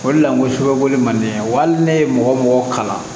O de la ko sɛbɛko de man di ne ye wa hali ne ye mɔgɔ mɔgɔ kalan